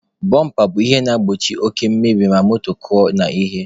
Bọmpa bụ ihe na-egbochi oke mmebi ma moto kụọ n'ihe.